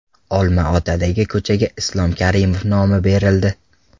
Olmaotadagi ko‘chaga Islom Karimov nomi berildi.